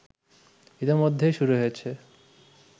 ইতোমধ্যেই শুরু হয়েছে